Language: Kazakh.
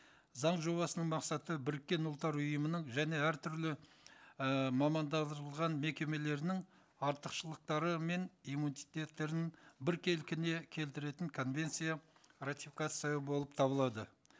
заң жобасының мақсаты біріккен ұлттар ұйымының және әртүрлі ыыы мамандандырылған мекемелерінің артықшылықтары мен иммунитеттерін бір келкіне келтіретін конвенция ратификациялау болып табылады